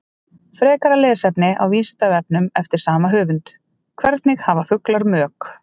Frekara lesefni á Vísindavefnum eftir sama höfund: Hvernig hafa fuglar mök?